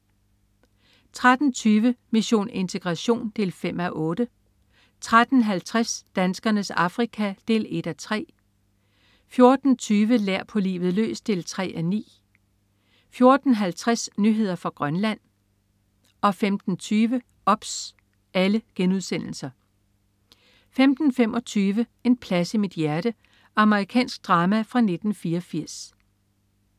13.20 Mission integration 5:8* 13.50 Danskernes Afrika 1:3* 14.20 Lær på livet løs 3:9* 14.50 Nyheder fra Grønland* 15.20 OBS* 15.25 En plads i mit hjerte. Amerikansk drama fra 1984